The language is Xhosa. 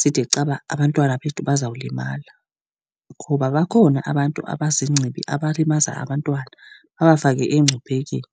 side caba abantwana bethu bazawulimala, ngoba bakhona abantu abaziingcibi abalimaza abantwana, babafake engciphekweni.